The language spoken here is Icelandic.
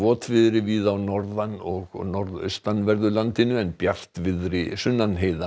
votviðri víða á norðan og norðaustanverðu landinu en bjartviðri sunnan